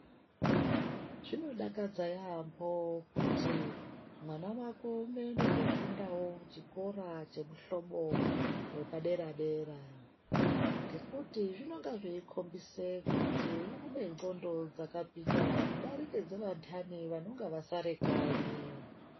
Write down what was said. Zvinodakadza yaampho kuti mwana wako unoende koofundawo kuchikora chemuhlobo wepadera-dera, ngekuti zvinonga zveikhombise kuti une ndxondo dzakapinda kudarika dzevantani vanonga vasare kanyi.